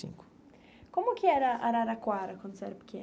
Cinco. Como que era Araraquara quando você era pequeno?